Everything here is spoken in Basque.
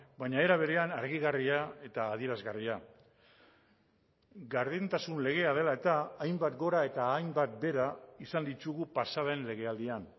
baina era berean argigarria eta adierazgarria gardentasun legea dela eta hainbat gora eta hainbat behera izan ditugu pasa den legealdian